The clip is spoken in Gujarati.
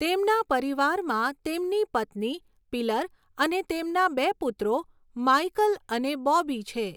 તેમના પરિવારમાં તેમની પત્ની પિલર અને તેમના બે પુત્રો માઈકલ અને બૉબી છે.